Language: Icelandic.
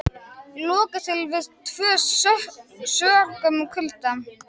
Lokað til tvö sökum kulda